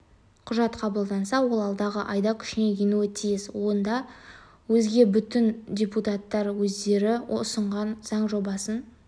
құжат қабылданса ол алдағы айда күшіне енуі тиіс одан өзге бүгін депутаттар өздері ұсынған заң жобасын